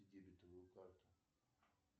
дебетовую карту